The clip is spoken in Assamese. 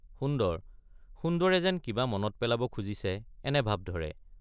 সুন্দৰ— সুন্দৰে যেন কিবা মনত পেলাব খুজিছে এনে ভাৱ ধৰে।